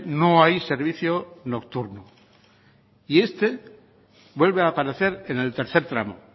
no hay servicio nocturno y este vuelve a aparecer en el tercer tramo